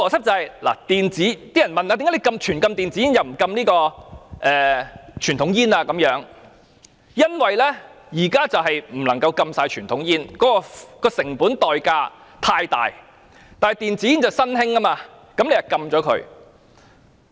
政府之所以全面禁止電子煙而不禁傳統香煙，原因是全面禁止傳統香煙的成本代價太大，但電子煙是新興的，政府便禁了它。